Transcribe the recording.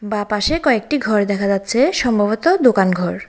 বাঁ পাশে কয়েকটি ঘর দেখা যাচ্ছে সম্ভবত দোকান ঘর।